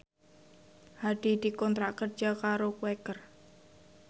Hadi dikontrak kerja karo Quaker